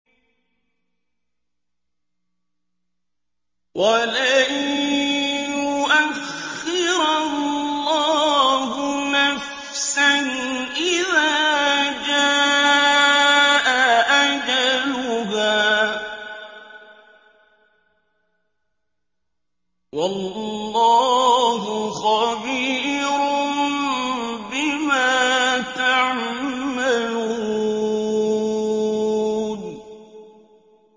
وَلَن يُؤَخِّرَ اللَّهُ نَفْسًا إِذَا جَاءَ أَجَلُهَا ۚ وَاللَّهُ خَبِيرٌ بِمَا تَعْمَلُونَ